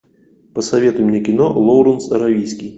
посоветуй мне кино лоуренс аравийский